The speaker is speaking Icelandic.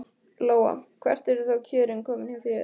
Lóa: Hvert eru þá kjörin komin hjá þér?